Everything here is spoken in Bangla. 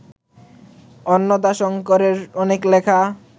অন্নদাশঙ্করের অনেক লেখা